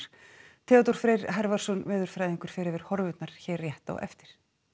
Theodór Freyr veðurfræðingur fer yfir horfurnar hér rétt á eftir